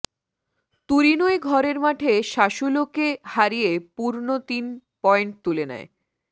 তুরিনোয় ঘরের মাঠে সাসুলোকে হারিয়ে পূর্ণ তিন পয়েন্ট তুলে নেয়